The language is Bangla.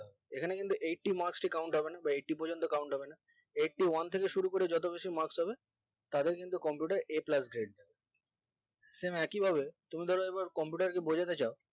এখানে কিন্তু eighty marks টি count হবে না বা eighty পর্যন্ত count হবে না eighty one থেকে শুরু করে যত বেশি marks হবে তাদের কিন্তু computer a plus grade দেবে same একই ভাবে তুমি ধরো এবার computer বোঝাতে চাও